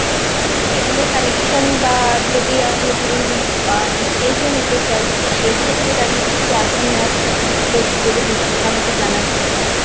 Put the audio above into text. cable এ connection বা যদি আমি ধরুন আ DTH ও নিতে চাই তো সেই ক্ষেত্রে দাঁড়িয়ে কি আছে না আছে আপনাদেরটা, একটু যদি details আমাকে জানান খুব ভালো হয়।